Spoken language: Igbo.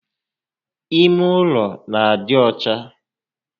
Ime ụlọ n'adị ọcha